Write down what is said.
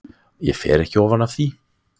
Ég fer ekki ofan af því.